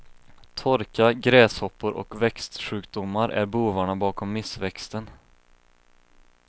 Torka, gräshoppor och växtsjukdomar är bovarna bakom missväxten.